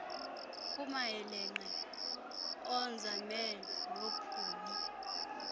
kumayeelenqe oonzame noophumi